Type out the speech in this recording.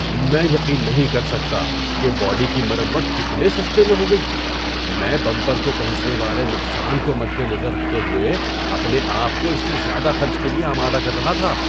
میں یقین نہیں کر سکتا کہ باڈی کی مرمت کتنے سستے میں ہو گئی! میں بمپر کو پہنچنے والے نقصان کو مدنظر رکھتے ہوئے اپنے آپ کو اس سے زیادہ خرچ کے لیے آمادہ کر رہا تھا۔